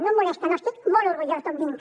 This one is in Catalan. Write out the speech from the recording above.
no em molesta no n’estic molt orgullós d’on vinc